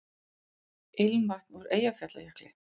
Ilmvatn úr Eyjafjallajökli